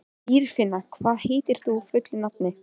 Dýrfinna, hvað heitir þú fullu nafni?